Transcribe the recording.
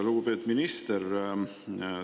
Lugupeetud minister!